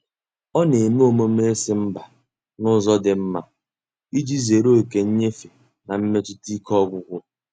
Ọ na-eme omume ịsị mba n'ụzọ dị mma iji zere oke nyefe na mmetụta ike ọgwụgwụ.